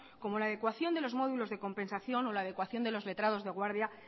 como la ecuación de los módulos de compensación o la adecuación de los letrados de guardia